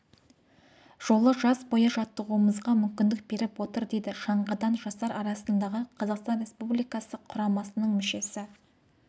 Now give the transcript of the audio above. жолы жаз бойы жаттығуымызға мүмкіндік беріп отыр дейді шаңғыдан жастар арасындағы қазақстан республикасы құрамасының мүшесі